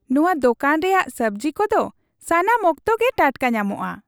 ᱱᱚᱶᱟ ᱫᱳᱠᱟᱱ ᱨᱮᱭᱟᱜ ᱥᱟᱹᱵᱡᱤ ᱠᱚᱫᱚ ᱥᱟᱱᱟᱢ ᱚᱠᱛᱚ ᱜᱮ ᱴᱟᱴᱠᱟ ᱧᱟᱢᱚᱜᱼᱟ !